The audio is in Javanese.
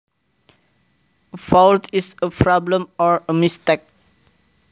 A fault is a problem or a mistake